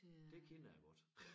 Det kender jeg godt